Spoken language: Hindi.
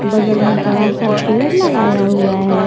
बगल में बड़ा सा पेड़ लगाया हुआ है।